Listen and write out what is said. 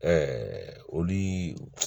olu